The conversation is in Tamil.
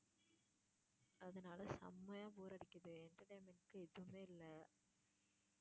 அதனால செம்மைய்யா bore அடிக்குது entertainment க்கு எதுவுமே இல்ல